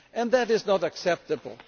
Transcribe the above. That is not acceptable.